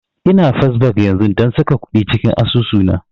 Ina first bank yanzun don saka kuɗi cikin asusu na